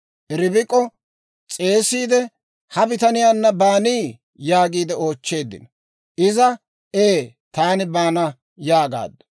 Ribik'o s'eesiide, «Ha bitaniyaanna baanii?» yaagiide oochcheeddino. Iza, «Ee; taani baana» yaagaaddu.